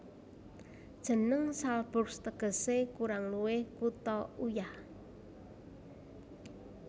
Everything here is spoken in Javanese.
Jeneng Salzburg tegesé kurang luwih Kutha Uyah